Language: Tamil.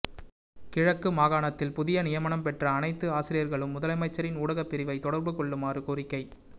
கிழக்கு மாகாணத்தில் புதிய நியமனம் பெற்ற அனைத்து ஆசிரியர்களும் முதலமைச்சரின் ஊடகப் பிரிவை தொடர்பு கொள்ளுமாறு கோரிக்கை